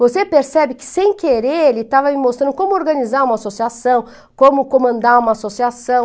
Você percebe que, sem querer, ele estava me mostrando como organizar uma associação, como comandar uma associação.